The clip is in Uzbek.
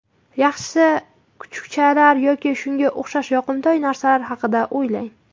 Yaxshisi, kuchukchalar yoki shunga o‘xshash yoqimtoy narsalar haqida o‘ylang.